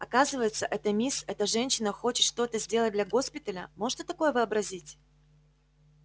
оказывается эта мисс эта женщина хочет что-то сделать для госпиталя можешь ты такое вообразить